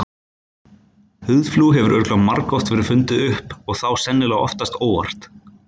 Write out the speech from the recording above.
Húðflúr hefur örugglega margoft verið fundið upp og þá sennilega oftast óvart.